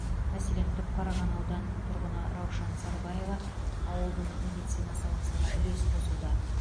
мәселен түпқараған ауданының тұрғыны раушан сарбаева ауылдың медицина саласына үлес қосуда